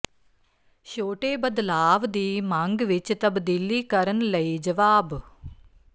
ਛੋਟੇ ਬਦਲਾਵ ਦੀ ਮੰਗ ਵਿੱਚ ਤਬਦੀਲੀ ਕਰਨ ਲਈ ਜਵਾਬ